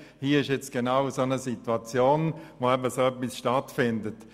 Hier liegt genau eine solche Situation vor, in der etwas in dieser Art stattfindet: